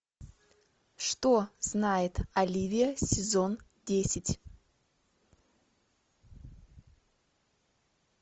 что знает оливия сезон десять